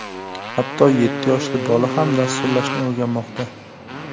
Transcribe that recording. Hatto yetti yoshli bola ham dasturlashni o‘rganmoqda.